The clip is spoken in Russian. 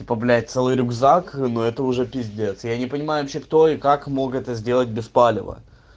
типа блять целый рюкзак но это уже пиздец я не понимаю вообще кто и как мог это сделать без палева